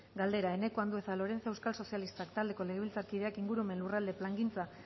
galdera eneko andueza lorenzo euskal sozialistak taldeko legebiltzarkideak ingurumen lurralde plangintza